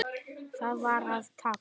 Það var að tapa.